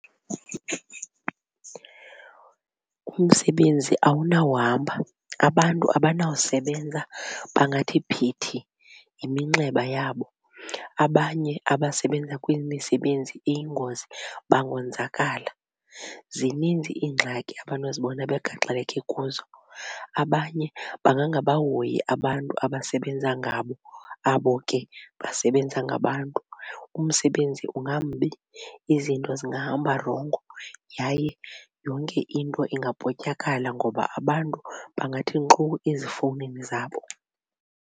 Umsebenzi awunawuhamba abantu abanawusebenza bangathi phithi yiminxeba yabo abanye abasebenza kwimisebenzi eyingozi bangonzakala. Zininzi iingxaki abanozibona begaxeleke kuzo. Abanye bangangabahoyi abantu abasebenza ngabo abo ke basebenza ngabantu. umsebenzi ungambi izinto zingahamba rongo yaye yonke into ingavotyakala ngoba abantu bangathi nkxu ezifowunini zabo.